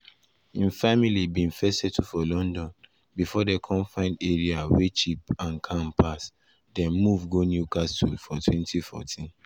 im family bin first settle for london bifor dem come find area wey cheap and calm pass dem move go newcastle for 2014.